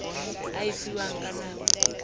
a e fiwang ka nako